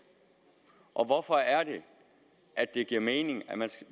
og hvorfor er det at det giver mening at man skal